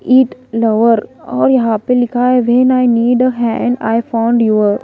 ईट lover और यहां पे लिखा है when I need a hand I found your --